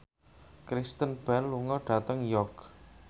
Kristen Bell lunga dhateng York